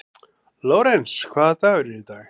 Lórens, hvaða dagur er í dag?